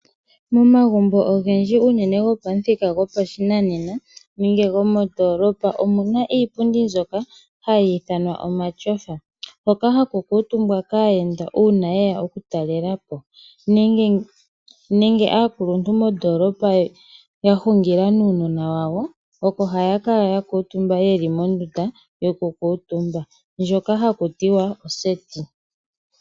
Momagumbo ogendji gopamuthika gopashinanena nenge gopandoolopa omu na iipundi mbyoka hayi ithanwa omatyofa. Ohaku kuutumbwa kaayenda uuna ye ya okutalelapo nenge kaakuluntu nuunona wawo uuna ya hungila moseti.